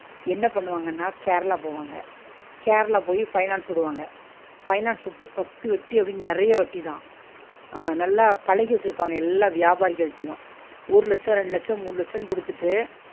என்ன பண்ணுவாங்கனா கேரளா போவாங்க கேரளா போய் finance விடுவாங்க finance விட்டு பத்து வட்டி அப்பிடின்னு நெறைய வட்டி தான் ஆஹ் நல்லா பழகி வச்சிருப்பாங்க எல்லா வியாபாரிகள்ட்டயு ஒரு லட்சோ ரெண்டு லட்சோ மூணு லட்சோன்னு குடுத்திட்டு